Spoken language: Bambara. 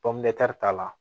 pɔnpumɛtiri ta la